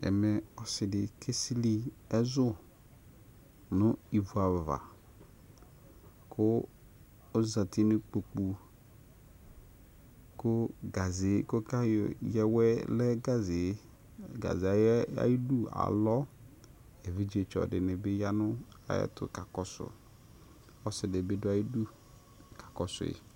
Ɛmɛ ɔsɩdɩ kesɩlɩ ɛzʊ nʊ ɩvʊ ava kʊ ɔzatɩ nʊ ɩkpokʊ kʊ gaze kʊ ayɔ keya awɛ alɔ evidzetsɔ dɩnɩbɩ ya nʊ ayʊ ɛtʊ kakɔsʊ ɔsɩdɩbɩ dʊ ayʊ ɩdʊ kakɔsʊ yɩ